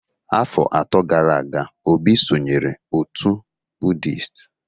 Afọ atọ gara aga, Obi sonyeere otu Buddhist